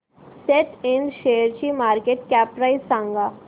सॅट इंड शेअरची market cap price सांगा